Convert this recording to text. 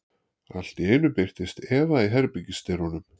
Allt í einu birtist Eva í herbergisdyrunum.